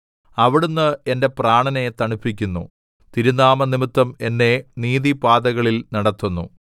അവിടുന്ന് എന്റെ പ്രാണനെ തണുപ്പിക്കുന്നു തിരുനാമംനിമിത്തം എന്നെ നീതിപാതകളിൽ നടത്തുന്നു